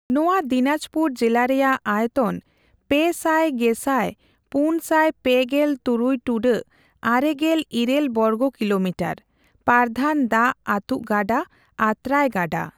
ᱱᱚᱸᱼᱚᱭᱟ ᱫᱤᱱᱟᱸᱡᱽᱯᱩᱨ ᱡᱤᱞᱟᱹ ᱨᱮᱭᱟᱜ ᱟᱭᱚᱛᱚᱱ ᱯᱮ ᱥᱟᱭ ᱜᱮᱥᱟᱭ ᱯᱩᱱ ᱥᱟᱭ ᱯᱮᱜᱮᱞ ᱛᱩᱨᱩᱭ ᱴᱩᱰᱟᱹᱜ ᱟᱨᱮ ᱜᱮᱞ ᱤᱨᱟᱹᱞ ᱵᱚᱨᱜᱚ ᱠᱤᱞᱚᱢᱤᱴᱟᱹᱨ᱾ ᱯᱟᱨᱫᱷᱟᱱ ᱫᱟᱜ ᱟᱛᱩᱜ ᱜᱟᱰᱟ ᱟᱹᱛᱨᱟᱹᱭ ᱜᱟᱰᱟ᱾